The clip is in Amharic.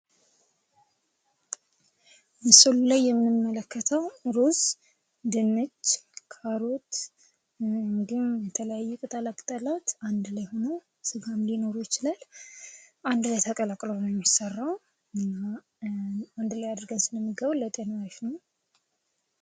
ምስሉ ላይ የምንመለከተው እሩዝ፣ ድንች ፣ ካሮት እንዲሁም የተለያዩ ቅጠላቅጠላት አንድ ላይ ሁነው ስጋም ሊኖረው ይችላል አንድ ላይ ተቀላቅለው ነው የሚሰራው። እና አንድ ላይ አድርገን ስንመገበው ለጤና አሪፍ ነው።